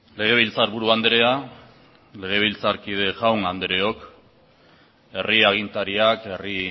legebiltzarburu andrea legebiltzarkide jaun andreok herri agintariak herri